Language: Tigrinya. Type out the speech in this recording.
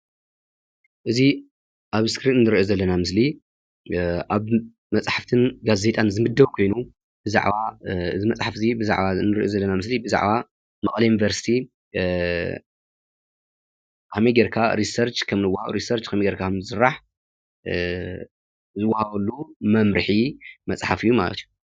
እዚ ኣብ እስክሪን ንርኦ ዘለና ምስሊ ኣብ መፃሕፍትን ጋዜጣን ዝምደብ ኮይኑ ብዛዕባ መቐለ ዩኒቨርስቲ ከመይ ገይካ ርሴርች ከምዝዋሃብ/ከምዝስራሕ/ መምርሒ ዝዋሃበሉ መፅሓፍ እዩ።